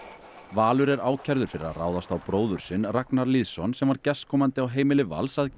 Valur er ákærður fyrir að ráðast á bróður sinn Ragnar Lýðsson sem var gestkomandi á heimili Vals að